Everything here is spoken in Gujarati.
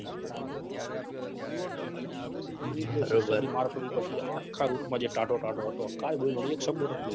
માર પડી પછી આખા route માં જે ઠાડો ઠાડો હતો કાઈ બોલ્યો નથી એક શબ્દ નથી બોલ્યો